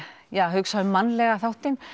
hugsa um mannlega þáttinn